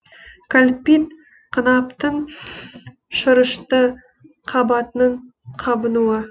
кольпит қынаптың шырышты қабатының қабынуы